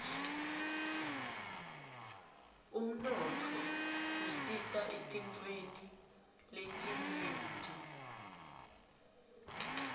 umnotfo usita etintfweni letinyenti